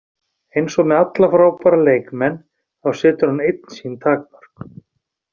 Eins og með alla frábæra leikmenn, þá setur hann einn sín takmörk.